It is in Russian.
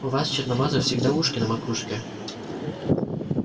у вас черномазых всегда ушки на макушке